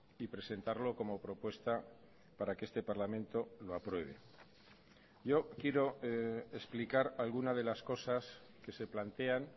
y presentarlo como propuesta para que este parlamento lo apruebe yo quiero explicar alguna de las cosas que se plantean